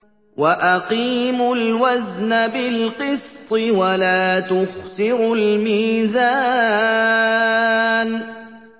وَأَقِيمُوا الْوَزْنَ بِالْقِسْطِ وَلَا تُخْسِرُوا الْمِيزَانَ